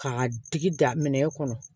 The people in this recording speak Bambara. K'a digi da minɛ kɔnɔ